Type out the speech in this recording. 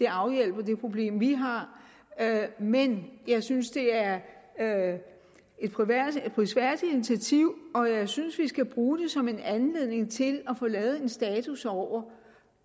afhjælper det problem vi har men jeg synes det er et prisværdigt initiativ og jeg synes vi skal bruge det som en anledning til at få lavet en status over hvor